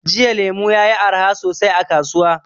Jiya lemu yayi arha sosai a kasuwa.